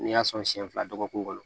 N'i y'a sɔn siɲɛ fila dɔgɔkun kɔnɔ